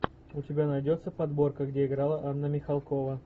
у тебя найдется подборка где играла анна михалкова